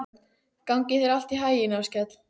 Gangi þér allt í haginn, Áskell.